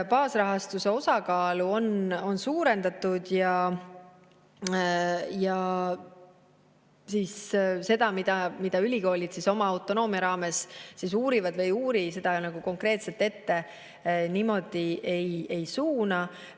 Baasrahastuse osakaalu on suurendatud ja seda, mida ülikoolid oma autonoomia raames uurivad või ei uuri, me konkreetselt ei suuna.